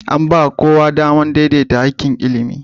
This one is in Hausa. An ba kowa damar daidaita haƙƙin ilimi